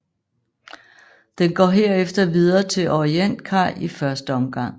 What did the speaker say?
Den går herefter videre til Orientkaj i første omgang